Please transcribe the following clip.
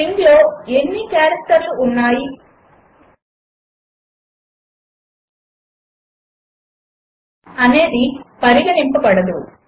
స్ట్రింగ్లో ఎన్ని క్యారెక్టర్లు ఉన్నాయి అనేది పరిగణింపబడదు